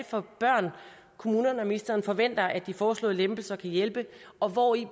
for børn kommunerne og ministeren forventer at de foreslåede lempelser kan hjælpe og hvori